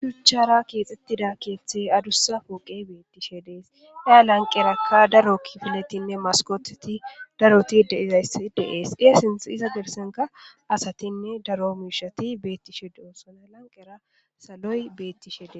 Huchara keexxettida keeththe adussa poqe beettishe dees daa lanqerakka daro filetinne maskoteti daroti diaysdeees eesinth iza gersenka asatinne daro miishati beettishe de.osona lanqera saloy beettishede.